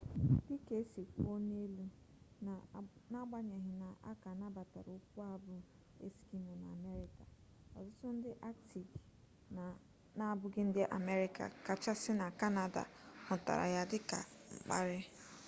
dịka e si kwuo n'elu n'agbanyeghi na a ka nabatara okwu a bụ eskimo na amerịka ọtụtụ ndị aktiki n'abụghị ndị amerịka ọ kachasị na kanada hụtara ya dịka mkparị